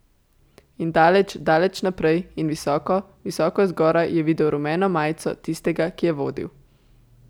In daleč, daleč naprej in visoko, visoko zgoraj je videl rumeno majico tistega, ki je vodil.